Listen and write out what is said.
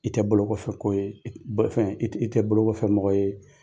I tɛ bolokɔfɛ ko yee bɛ fɛn i te i tɛ bolokokɔfɛ mɔgɔ ye.